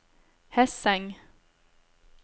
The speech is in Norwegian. Hesseng